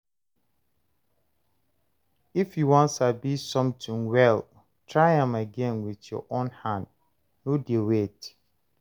If you wan sabi something well, try am again with your own hand, no dey wait.